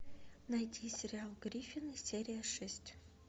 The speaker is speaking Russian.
найти сериал гриффины серия шесть